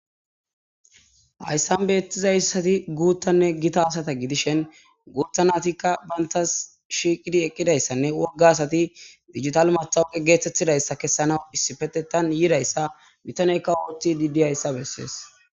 Hayssan beetizayssati guuttanne gita asata gidishen guutha naatikka bayntas shiiqidi eqqidayssanne wogga asati digital mathawuqe geeththettidayssa kessanaw issifetetan yiidayssa bitaneykka oothi didi ayssa bessees.